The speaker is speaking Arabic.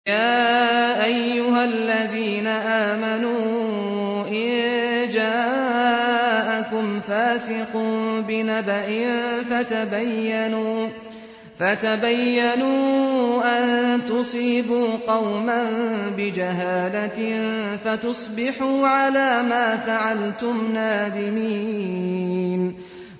يَا أَيُّهَا الَّذِينَ آمَنُوا إِن جَاءَكُمْ فَاسِقٌ بِنَبَإٍ فَتَبَيَّنُوا أَن تُصِيبُوا قَوْمًا بِجَهَالَةٍ فَتُصْبِحُوا عَلَىٰ مَا فَعَلْتُمْ نَادِمِينَ